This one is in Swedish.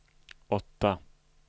åtta